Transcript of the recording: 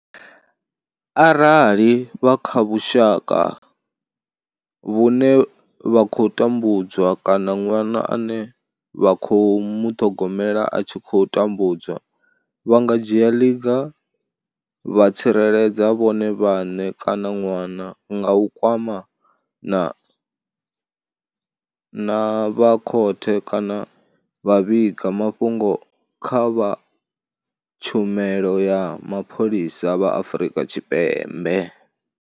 Arali vha kha vhushaka vhune vha tambudzwa kana ṅwana ane vha khou muṱhogomela a tshi khou tambudzwa, vha nga dzhia ḽiga vha tsireledza vhone vhaṋe kana ṅwana nga u kwamana na vha khothe kana vha vhiga mafhungo kha vha tshumelo ya mapholisa vha Afrika Tshipembe.